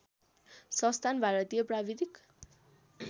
संस्थान भारतीय प्राविधिक